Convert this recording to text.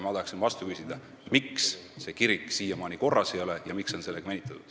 Ma tahaksin vastu küsida, miks see kirik siiamaani korras ei ole ja miks on sellega venitatud.